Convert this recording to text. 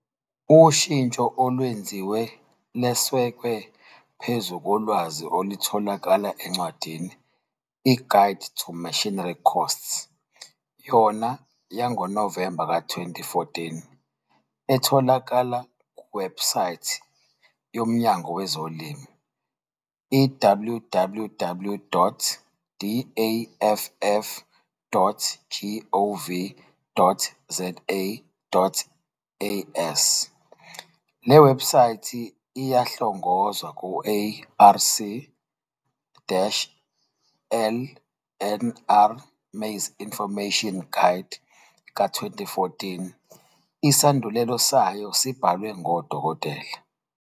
Ushintsho olwenziwe lwesekwe phezu kolwazi olutholakala encwadini i-"Guide to Machinery Costs" yona yangoNovemba ka-2014 etholakala kuwebsaythi yoMnyango weZolimo, iwww.daff.gov.za.as., Le websaythi iyahlongozwa ku-ARC-LNR Maize Information Guide ka-2014 isandulelo sayo esibhalwe nguDktl.